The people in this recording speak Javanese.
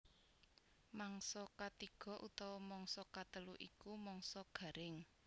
Mangsa katiga utawa mangsa katelu iku mangsa garing